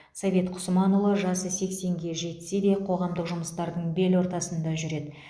совет құсманұлы жасы сексенге жетсе де қоғамдық жұмыстардың бел ортасында жүреді